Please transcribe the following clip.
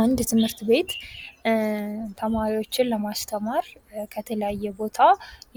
አንድ ትምህርት ቤት ተማሪዎችን ለማስተማር ከተለያየ ቦታ